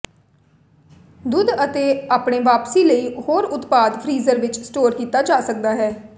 ਦੁੱਧ ਅਤੇ ਆਪਣੇ ਵਾਪਸੀ ਲਈ ਹੋਰ ਉਤਪਾਦ ਫ਼੍ਰੀਜ਼ਰ ਵਿੱਚ ਸਟੋਰ ਕੀਤਾ ਜਾ ਸਕਦਾ ਹੈ